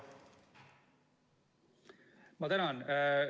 Ma tänan!